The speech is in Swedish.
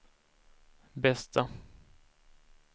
bästa